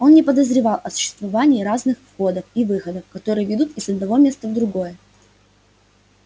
он не подозревал о существовании разных входов и выходов которые ведут из одного места в другое